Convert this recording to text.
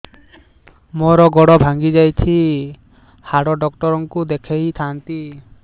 ମୋର ଗୋଡ ଭାଙ୍ଗି ଯାଇଛି ହାଡ ଡକ୍ଟର ଙ୍କୁ ଦେଖେଇ ଥାନ୍ତି